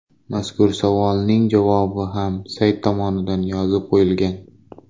Mazkur savolning javobi ham sayt tomonidan yozib qo‘yilgan.